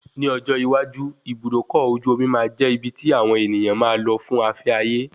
Ni ọjọ́ iwájú, Ibùdókọ̀ ojú omi máa jẹ́ ibi tí àwọn ènìyàn máa lò fún afẹ́ ayé